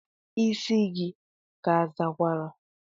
Isi gi ka azakwara?